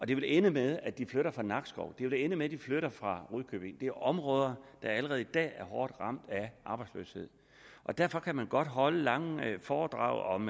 det vil ende med at de flytter fra nakskov og det vil ende med at de flytter fra rudkøbing det er områder der allerede i dag er hårdt ramt af arbejdsløshed derfor kan man godt holde lange foredrag om